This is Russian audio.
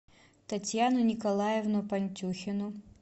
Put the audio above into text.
татьяну николаевну пантюхину